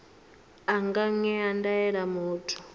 a nga ṅea ndaela muthu